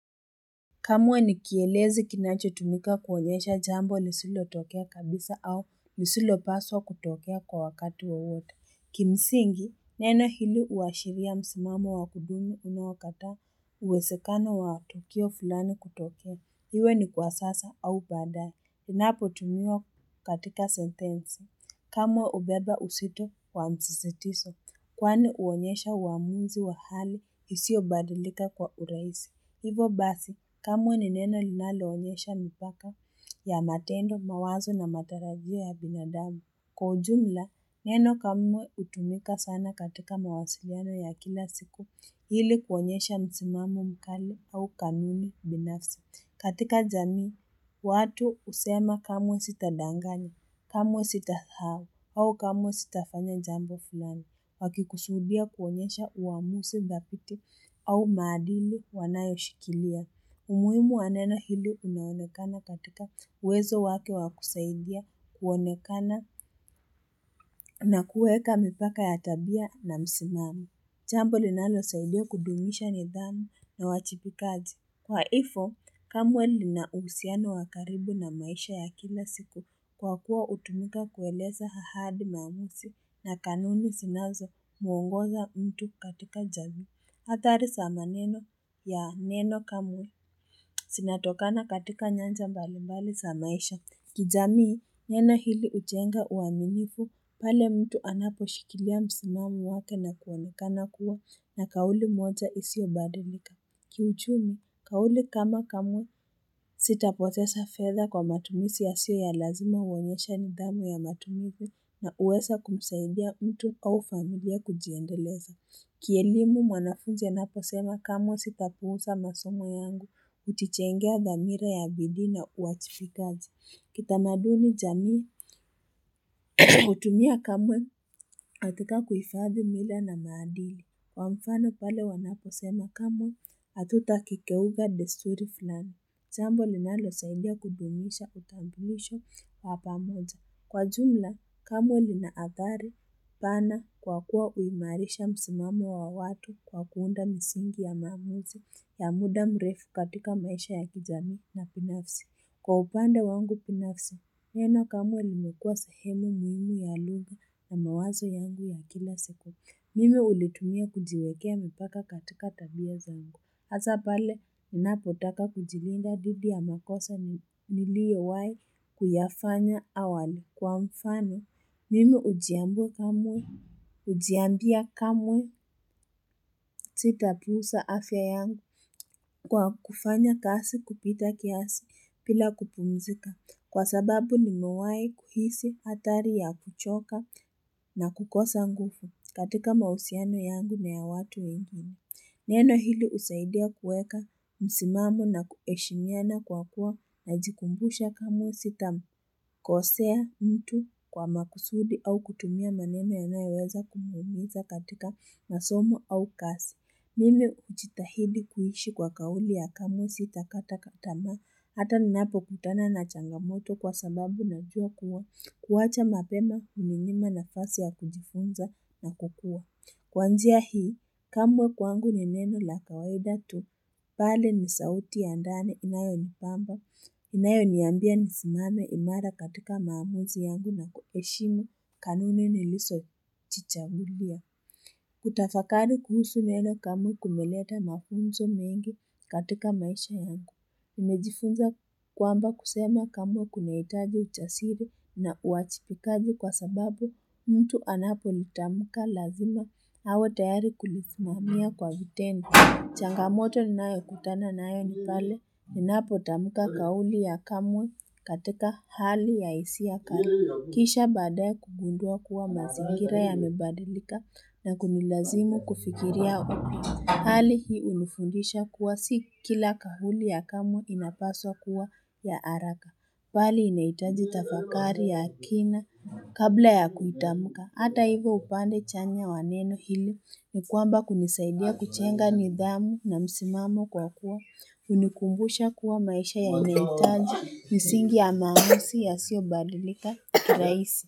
Kamwe ni kielezi kinachotumika kuonyesha jambo nisilotokea kabisa au nisilopaswa kutokea kwa wakati wowote. Kimsingi, neno hili huashiria msimamo wa kudumu unaokata uwezekano wa tukio fulani kutokea. Iwe ni kwa sasa au baadaye. Inapotumiwa katika sentensi. Kamwe hubeba uzito wa msisitizo. Kwani huonyesha uamuzi wa hali isiyobadilika kwa urahisi. Hivo basi, kamwe ni neno linaloonyesha mipaka ya matendo, mawazo na matarajia ya binadamu. Kwa ujumla, neno kamwe hutumika sana katika mawasiliano ya kila siku ili kuonyesha msimamo mkali au kamili binafsi. Katika jamii, watu husema kamwe sitadanganya, kamwe sitasahau au kamwe sitafanya jambo fulani. Wakikusudia kuonyesha uamuzi dhabiti au maadili wanayoshikilia. Umuhimu wa neno hili unaonekana katika uwezo wake wa kusaidia, kuonekana na kuweka mipaka ya tabia na misimamo. Jambo linalosaidia kudumisha nidhamu na wajibikaji. Kwa hivyo kamwe lina uhusiano wa karibu na maisha ya kila siku kwa kuwa hutumika kueleza ahadi, maamuzi na kanuni zinazomuongoza mtu katika jamii. Hatari za maneno ya neno, kamwe zinatokana katika nyanja mbalimbali za maisha. Kijamii, neno ili hujenga uaminifu pale mtu anaposhikilia msimamo wake na kuonekana kuwa na kauli moja isiyobadalika. Kiuchumi, kauli kama, kamwe sitapoteza fedha kwa matumizi yasiyo ya lazima huonyesha nidhamu ya matumizi na huweza kumsaidia mtu au familia kujiendeleza. Kielimu mwanafunzi anaposema, kamwe sitapuuza masomo yangu, hujijengea dhamira ya bidii na uwajibikaji. Kitamaduni, jamii hutumia kamwe katika kuhifadhi mila na maadili. Kwa mfano pale wanaposema, kamwe hatutakeuka desturi fulani. Jambo linalosaidia kudumisha utambulisho wa pamoja. Kwa jumla, kamwe linaathari pana kwa kuwa huimarisha msimamo wa watu kwa kuunda misingi ya maamuzi ya muda mrefu katika maisha ya kijamii na binafsi. Kwa upande wangu binafsi, neno kamo limekuwa sehemu muhimu ya lugha na mawazo yangu ya kila siku. Mimi hulitumia kujiwekea mipaka katika tabia zangu. Hasa pale ninapotaka kujilinda dhidi ya makosa niliyowahi kuyafanya awali. Kwa mfano, mimi hujiambia kamwe sitapuuza afya yangu kwa kufanya kazi kupita kiasi bila kupumzika. Kwa sababu nimewahi kuhisi hatari ya kuchoka na kukosa nguvu katika mahusiano yangu na ya watu wengine. Neno hili husaidia kuweka msimamo na kuheshimiana kwa kuwa najikumbusha kamwe sitakosea mtu kwa makusudi au kutumia maneno yanayoweza kumuumiza katika masomo au kazi. Mimi hujitahidi kuishi kwa kauli ya kamwe sitakata tamaa hata ninapokutana na changamoto, kwa sababu najua kuwa kuwacha mapema, huninyima nafasi ya kujifunza na kukua. Kwanzia hii, kamwe kwangu ni neno la kawaida tu. Pale ni sauti ya ndani inayonipamba, inayoniambia nisimame imara katika maamuzi yangu na kuheshimu kanuni nilizojichagulia. Kutafakari kuhusu neno kamwe kumeleta mafunzo mengi katika maisha yangu. Nimejifunza kwamba kusema kamwe kunahitaji ujasiri na uwajibikaji, kwa sababu mtu anapolitamka lazima awe tayari kulisimamia kwa vitendo. Changamoto ninayokutana nayo ni pale ninapotamuka kauli ya kamwe katika hali ya hisia kali. Kisha baadaye kugundua kuwa mazingira yamebadilika na kunilazimu kufikiria Hali hii hunifundisha kuwa si kila kauli ya kamwe inapaswa kuwa ya haraka. Bali inahitaji tafakari ya kina kabla ya kuitamka. Hata hivyo, upande chanya wa neno hili ni kwamba kunisaidia kujenga nidhamu na msimamo kwa kuwa hunikumbusha kuwa maisha yanahitaji misingi ya maamuzi yasiyobadilika rahisi.